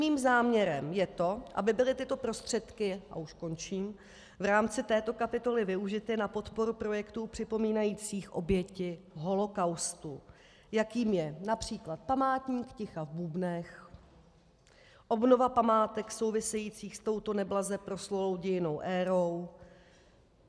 Mým záměrem je to, aby byly tyto prostředky, a už končím, v rámci této kapitoly využity na podporu projektů připomínajících oběti holokaustu, jakým je například Památník ticha v Bubnech, obnova památek souvisejících s touto neblaze proslulou dějinnou érou.